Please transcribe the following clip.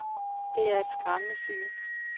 Det er et skræmmende syn.